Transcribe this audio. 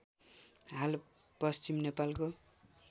हाल पश्चिम नेपालको